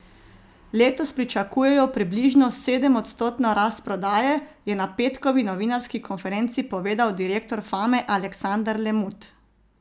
Letos pričakujejo približno sedemodstotno rast prodaje, je na petkovi novinarski konferenci povedal direktor Fame Aleksander Lemut.